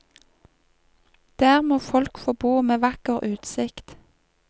Der må folk få bo med vakker utsikt.